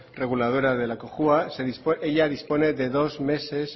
reguladora de la cojua ella dispone de dos meses